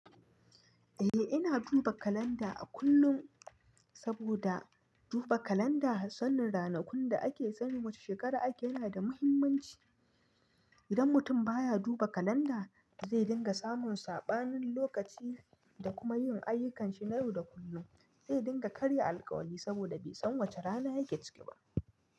Eh, ina duba kalanda a kullum saboda duba kalanda, sanin ranakun da ake sani wace shekara ake yana da muhimmanci. Idan mutum baya duba kalanda, zai dinga samun saɓanin lokaci da kuma yin ayyukanshi na yau da kullum. Zai dinga karya alkawari saboda bai san wace rana yake ciki ba.